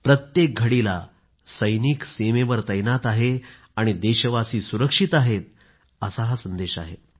प्रत्येक घडीला सैनिक सीमेवर तैनात आहे आणि देशवासी सुरक्षित आहेतअसा हा संदेश आहे